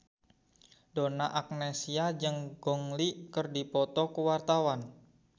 Donna Agnesia jeung Gong Li keur dipoto ku wartawan